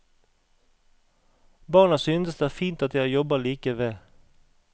Barna synes det er fint at jeg jobber like ved.